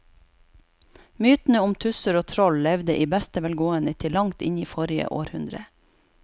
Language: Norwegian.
Mytene om tusser og troll levde i beste velgående til langt inn i forrige århundre.